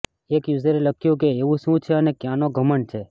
એક યૂઝરે લખ્યું કે એવું શું છે અને ક્યાંનો ઘમંડ છે